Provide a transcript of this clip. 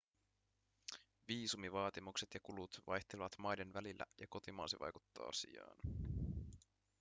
viisumivaatimukset ja kulut vaihtelevat maiden välillä ja kotimaasi vaikuttaa asiaan